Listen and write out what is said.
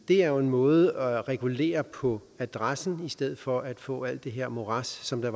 er jo en måde at regulere på adressen på i stedet for at få alt det her morads som der